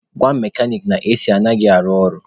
Gwa mekanik na AC anaghị arụ ọrụ.